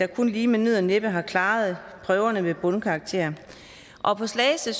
kun lige med nød og næppe har klaret prøverne med bundkarakterer på slagelse